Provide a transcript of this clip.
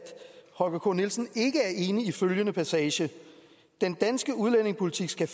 holger k nielsen ikke er enig i følgende passage den danske udlændingepolitik skal